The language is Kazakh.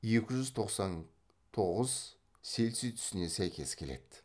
екі жүз тоқсан тоғыз цельсий түсіне сәйкес келеді